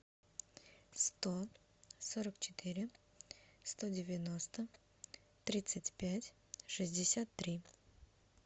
сто сорок четыре сто девяносто тридцать пять шестьдесят три